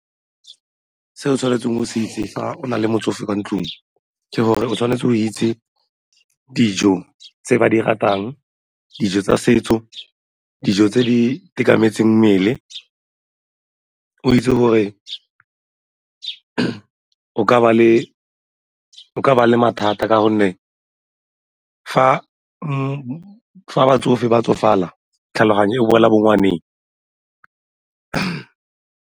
Se o tshwanetseng o se itse fa o na le motsofe kwa ntlong, ke gore o tshwanetse o itse dijo tse ba di ratang, dijo tsa setso, dijo tse di itekanetseng mmele, o itse gore o ka ba le mathata ka gonne fa batsofe ba tsofala tlhaloganyo o boela bongwaneng.